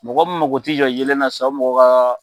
Mɔgɔ min mako tɛ jɔ yeelen na sisan o mɔgɔ ka